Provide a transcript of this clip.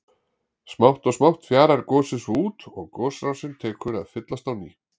Smátt og smátt fjarar gosið svo út og gosrásin tekur að fyllast á ný.